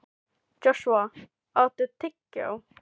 Joshua, áttu tyggjó?